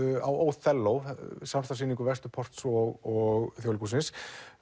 á Óþelló samstarfssýningu Vesturports og Þjóðleikhússins